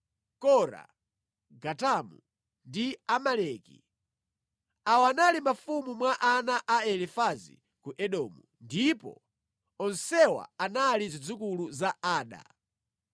Kora, Gatamu, ndi Amaleki. Awa anali mafumu mwa ana a Elifazi ku Edomu ndipo onsewa anali zidzukulu za Ada.